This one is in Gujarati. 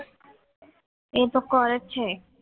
એ તો કરે જ છે